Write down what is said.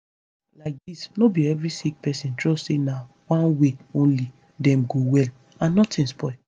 laidis no be every sick pesin trust say na one way only dem go well and notin spoil